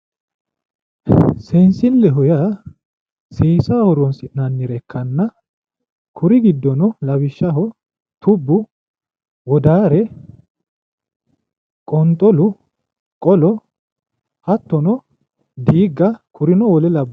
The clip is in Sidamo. Seensilleho Yaa seesaho horon'sinnanire ikana, kuri gidono lawishaho tubbu, wodaare, qonxolu, qolo, hattono diiga kurino wole labbano